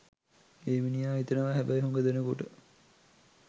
ඒ මිනිහා හිතනවා හැබැයි හුඟ දෙනෙකුට